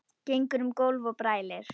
Gengur um gólf og brælir.